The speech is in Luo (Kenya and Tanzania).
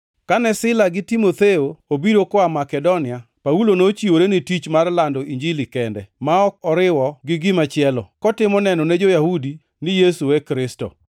Kane Sila gi Timotheo obiro koa Makedonia, Paulo nochiwore ni tich mar lando Injili kende ma ok oriwo gi gimachielo; kotimo neno ne jo-Yahudi ni Yesu e Kristo.